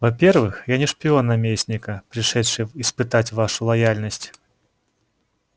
во-первых я не шпион наместника пришедший испытать вашу лояльность